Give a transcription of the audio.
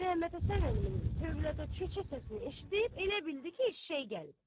Məmmədhəsən əminin tövlədə çöçə səsini eşidib, elə bildi ki, eşşək gəlib.